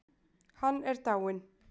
Hann er dáinn.